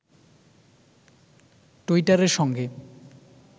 টুইটারের সঙ্গে